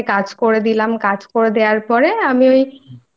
হাতে হাতে কাজ করে দিলাম কাজ করে দেওয়ার পরে